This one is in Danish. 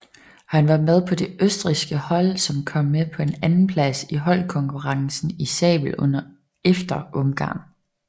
Han var med på det Østrigske hold som kom på en andenplads i holdkonkurrencen i sabel efter Ungarn